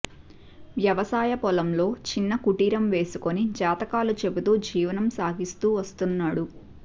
వ్యవసాయ పొలంలో చిన్న కుటీరం వేసుకుని జాతకాలు చెబుతూ జీవనం సాగిస్తూ వస్తున్నాడు